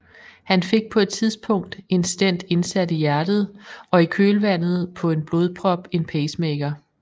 Han fik på et tidspunkt en stent indsat i hjertet og i kølvandet på en blodprop en pacemaker